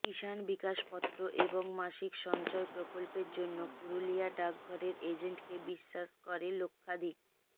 কিষান বিকাশ পত্র এবং মাসিক সঞ্চয় প্রকল্পের জন্য পুরুলিয়া ডাকঘরের এজেন্টকে বিশ্বাস করে লক্ষাধিক